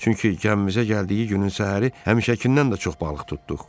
Çünki gəmimizə gəldiyi günün səhəri həmişəkindən də çox balıq tutduq.